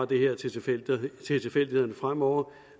det her til til tilfældighederne fremover